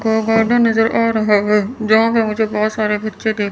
कई गार्डन नजर आ रहे हैं गांव में मुझे बहुत सारे बच्चे देख--